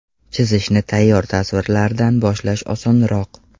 Chizishni tayyor tasvirlardan boshlash osonroq.